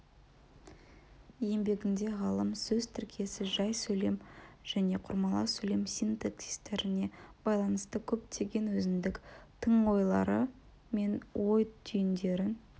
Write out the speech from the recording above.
еңбегінде ғалым сөз тіркесі жай сөйлем және құрмалас сөйлем синтаксистеріне байланысты көптеген өзіндік тың ойлары мен ой түйіндерін